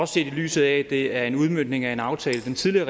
set i lyset af at det er en udmøntning af en aftale den tidligere